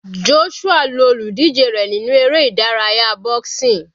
Joshua lu olùdíje rẹ̀ nínú eré ìdárayá boxing.